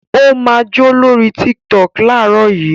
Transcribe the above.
Ó máa jó lórí Tiktok láàárọ̀ yìí!